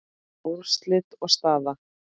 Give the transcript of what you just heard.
Úrslit og staða